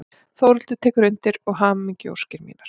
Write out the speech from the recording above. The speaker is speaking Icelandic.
Þórhildur tekur undir hamingjuóskir mínar.